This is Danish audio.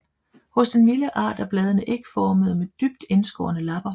Hos den vilde art er bladene ægformede med dybt indskårne lapper